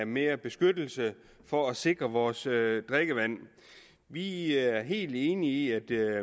mere beskyttelse for at sikre vores drikkevand vi er helt enige i